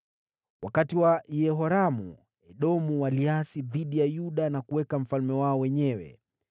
Wakati wa Yehoramu, Edomu waliasi dhidi ya Yuda na kujiwekea mfalme wao wenyewe.